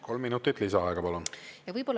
Kolm minutit lisaaega, palun!